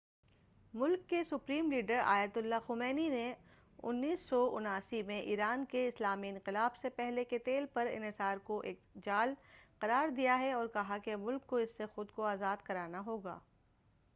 ملک کے supreme leader Ayatollah Ali Khamenei نے 1979 میں ایران کے اسلامی انقلاب سے پہلے کے تیل پر انحصار کو ایک جال قرار دیا ہے اور کہا کہ ملک کو اس سے خود کو آزاد کرانا ہوگا